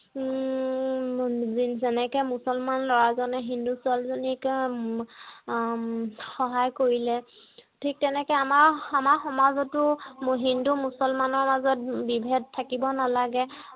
উম যেনেকে মুচলমান ল'ৰা জনে হিন্দু ছোৱালীক সহায় কৰিলে ঠিক তেনেকে আমাৰ সমা সমাজতো হিন্দু মুছলমানৰ মাজত বিভেদ থাকিব নালাগে